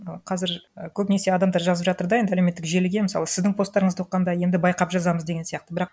і қазір і көбінесе адамдар жазып жатыр да енді әлеуметтік желіге мысалы сіздің посттарыңызды оқығанда енді байқап жазамыз деген сияқты бірақ